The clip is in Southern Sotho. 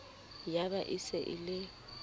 ya ba e se e